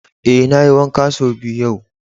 Eh, na yi wanka son biyu yau.